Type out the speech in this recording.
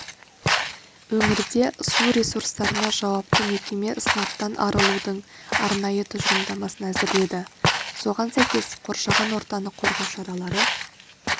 өңірде су ресурстарына жауапты мекеме сынаптан арылудың арнайы тұжырымдамасын әзірледі соған сәйкес қоршаған ортаны қорғау шаралары